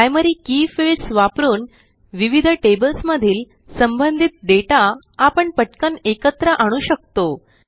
primary key fields वापरून विविध tables मधील संबंधित डेटा आपण पटकन एकत्र आणू शकतो